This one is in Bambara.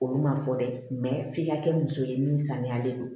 Olu ma fɔ dɛ f'i ka kɛ muso ye min saniyalen don